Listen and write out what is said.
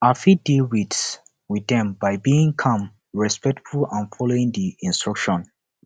i fit deal with with dem by being calm respectful and following di instructions